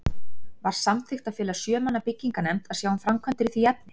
Var samþykkt að fela sjö manna byggingarnefnd að sjá um framkvæmdir í því efni.